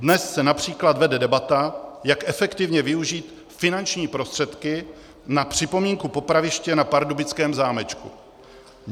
Dnes se například vede debata, jak efektivně využít finanční prostředky na připomínku popraviště na pardubickém zámečku.